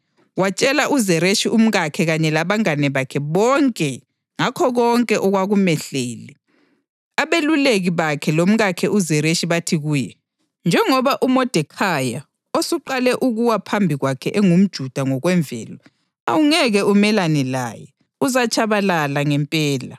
watshela uZereshi umkakhe kanye labangane bakhe bonke ngakho konke okwakumehlele. Abeluleki bakhe lomkakhe uZereshi bathi kuye, “Njengoba uModekhayi osuqale ukuwa phambi kwakhe engumJuda ngokwemvelo, awungeke umelane laye, uzatshabalala ngempela.”